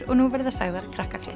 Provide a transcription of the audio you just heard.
og nú verða sagðar